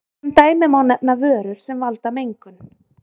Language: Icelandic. sem dæmi má nefna vörur sem valda mengun